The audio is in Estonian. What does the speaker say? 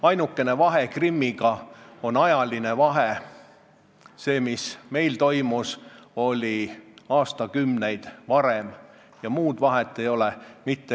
Ainukene vahe Krimmiga on ajaline, meil toimus see aastakümneid varem, muud vahet ei ole.